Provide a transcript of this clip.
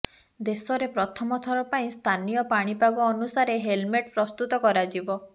ଦେଶରେ ପ୍ରଥମଥର ପାଇଁ ସ୍ଥାନୀୟ ପାଣିପାଗ ଅନୁସାରେ ହେଲମେଟ୍ ପ୍ରସ୍ତୁତ କରାଯିବ